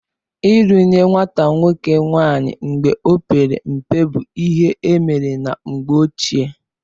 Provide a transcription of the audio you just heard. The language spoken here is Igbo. Ịlụ nye nwata nwoke nwaanyị mgbe ọ pere mpe bụ ihe emere na mgbe ochie